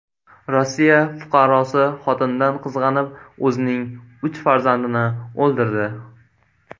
Rossiya fuqarosi xotinidan qizg‘anib, o‘zining uch farzandini o‘ldirdi.